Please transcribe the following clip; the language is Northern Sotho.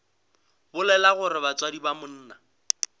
bolela gore batswadi ba monna